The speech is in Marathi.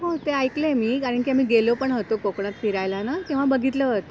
हो ते ऐकलंय मी कारण की आम्ही गेलो पण होतो कोकणात फिरायला ना तेव्हा बघितलं होत्या.